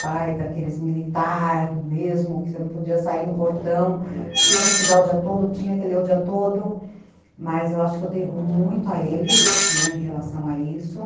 pai daqueles militar mesmo, que você não podia sair no portão, tinha que estudar o dia todo, tinha que ler o dia todo, mas eu acho que eu devo muito a ele, né, em relação a isso.